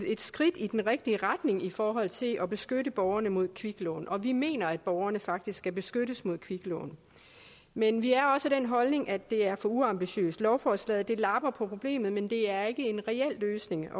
et skridt i den rigtige retning i forhold til at beskytte borgerne mod kviklån vi mener at borgerne faktisk skal beskyttes mod kviklån men vi er også af den holdning at det er for uambitiøst lovforslaget lapper på problemet men det er ikke en reel løsning